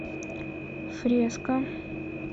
фреска